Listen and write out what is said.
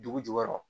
Dugu jukɔrɔ